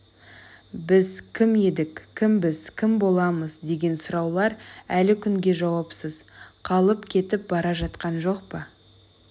біз кім едік кімбіз кім боламыз деген сұраулар әлі күнге жауапсыз қалып кетіп бара жатқан жоқ па